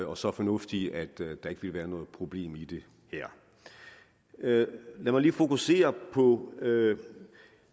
og så fornuftige at der ikke vil være noget problem i det her lad mig lige fokusere på